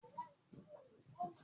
Ìgbà wo ni àwọn éégún yóò jó?